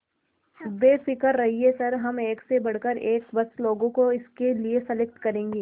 बेफिक्र रहिए सर हम एक से बढ़कर एक बस लोगों को इसके लिए सेलेक्ट करेंगे